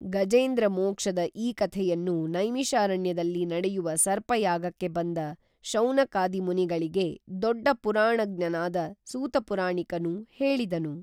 ಗಜೇಂದ್ರ ಮೋಕ್ಷದ ಈ ಕಥೆಯನ್ನು ನೈಮಿಶಾರಣ್ಯದಲ್ಲಿ ನಡೆಯುವ ಸರ್ಪಯಾಗಕ್ಕೆ ಬಂದ ಶೌನಕಾದಿ ಮುನಿಗಳಿಗೆ ದೊಡ್ಡ ಪುರಾಣಜ್ಞನಾದ ಸೂತಪುರಾಣಿಕನು ಹೇಳಿದನು